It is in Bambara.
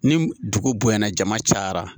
Ni dugu bonyana jama cayara